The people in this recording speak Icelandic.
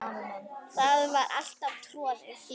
Það var alltaf troðið.